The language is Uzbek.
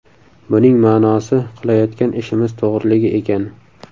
Buning ma’nosi qilayotgan ishimiz to‘g‘riligi ekan.